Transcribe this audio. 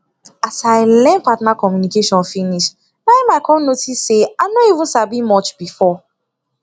as i learn partner communication finish na em i come notice say i no even sabi much before